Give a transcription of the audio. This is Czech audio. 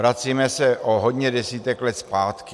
Vracíme se o hodně desítek let zpátky.